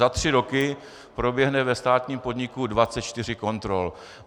Za tři roky proběhne ve státním podniku 24 kontrol.